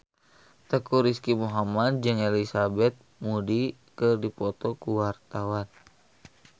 Teuku Rizky Muhammad jeung Elizabeth Moody keur dipoto ku wartawan